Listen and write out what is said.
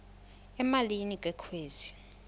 emalini ke kwezi